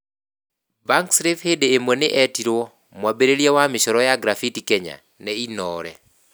Bankslave hĩndĩ ĩmwe nĩ eetirwo "mwambĩrĩria wa mĩcoro ya graffiti Kenya " nĩ Inoore.